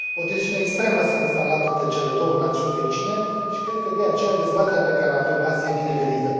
O tensiune extremă s a instalat între cele două națiuni vecine și cred că, de aceea, dezbaterea pe care o avem azi e binevenită.